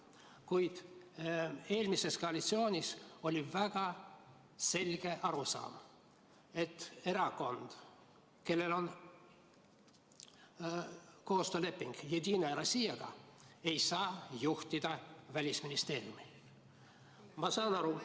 Kuid eelmises koalitsioonis oli väga selge arusaam, et erakond, kellel on koostööleping Jedinaja Rossijaga, ei saa juhtida Välisministeeriumi.